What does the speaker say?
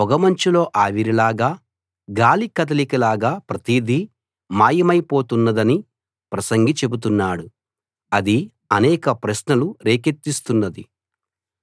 పొగమంచులో ఆవిరిలాగా గాలి కదలిక లాగా ప్రతిదీ మాయమైపోతున్నదని ప్రసంగి చెబుతున్నాడు అది అనేక ప్రశ్నలు రేకెత్తిస్తున్నది